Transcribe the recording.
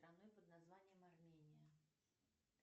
страны под названием армения